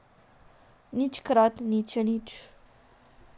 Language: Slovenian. Nič krat nič je nič.